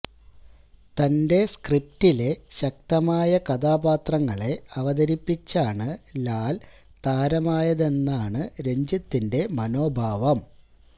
തന്റെ സ്ക്രിപിറ്റിലെ ശക്തമായ കഥാപാത്രങ്ങളെ അവതരിപ്പിച്ചാണ് ലാല് താരമായതെന്നാണ് രഞ്ജിത്തിന്റെ മനോഭാവം